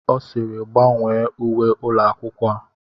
Ọ sịịrị, gbanwee uwe ụlọ akwụkwọ a!